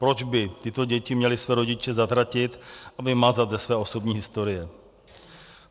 Proč by tyto děti měly své rodiče zatratit a vymazat ze své osobní historie?